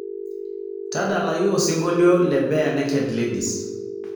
tadalayu osingolio le barenaked ladies